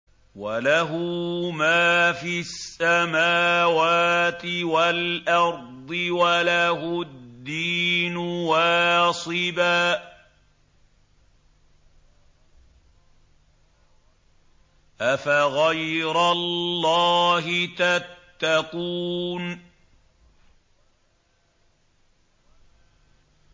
وَلَهُ مَا فِي السَّمَاوَاتِ وَالْأَرْضِ وَلَهُ الدِّينُ وَاصِبًا ۚ أَفَغَيْرَ اللَّهِ تَتَّقُونَ